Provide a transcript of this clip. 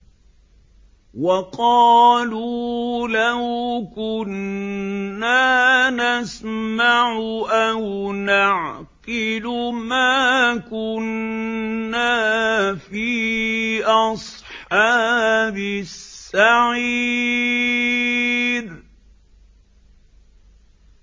وَقَالُوا لَوْ كُنَّا نَسْمَعُ أَوْ نَعْقِلُ مَا كُنَّا فِي أَصْحَابِ السَّعِيرِ